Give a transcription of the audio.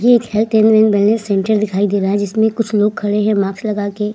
ये एक health centre दिखाई दे रहा है जिसमे कुछ लोग खड़े हैं माक्स लगा के।